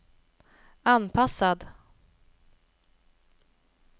anpassad